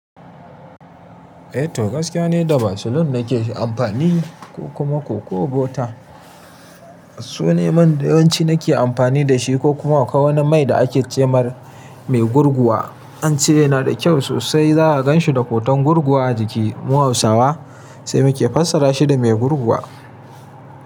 Eh to gaskiya ni da basilin na ke amfani ko kuma koko butter. Su ne man da yawanci na ke amfani da shi ko kuma akwai wani mai da aka ce mar mai gurguwa. Ance yanada kyau sosai zaha ganshi da hoton gurguwa a jiki. Mu hausawa sai mu ke fassara shi da mai gurguwa.